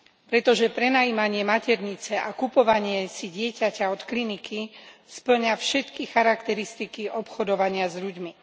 Pretože prenajímanie maternice a kupovanie si dieťaťa od kliniky spĺňa všetky charakteristiky obchodovania s ľuďmi.